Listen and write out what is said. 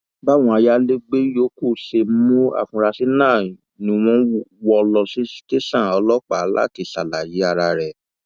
báwọn ayálégbé yòókù ṣe mú afurasí náà ni wọn wọ ọ lọ sí tẹsán ọlọpàá láti ṣàlàyé ara rẹ